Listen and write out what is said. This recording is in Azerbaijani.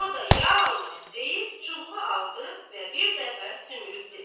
O da ya Allah deyib çubuğu aldı və bir dəfə sümürüb dedi: